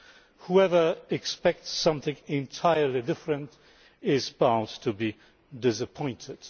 Anyone who expects something entirely different is bound to be disappointed.